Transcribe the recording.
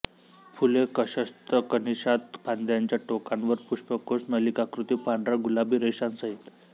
फुले कक्षस्थ कणिशात फांद्यांच्या टोकांवर पुष्पकोश नलिकाकृती पांढरा गुलाबी रेषांसहीत